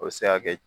O bɛ se ka kɛ